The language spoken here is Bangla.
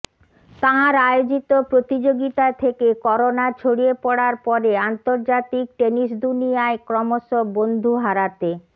তাঁর আয়োজিত প্রতিযোগিতা থেকে করোনা ছড়িয়ে পড়ার পরে আন্তর্জাতিক টেনিস দুনিয়ায় ক্রমশ বন্ধু হারাতে